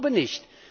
Ich glaube nicht.